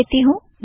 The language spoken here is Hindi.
धन्यवाद